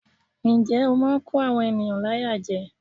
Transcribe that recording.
Njẹ́ ó máa ń kó àwọn ènìyàn láyà jẹ.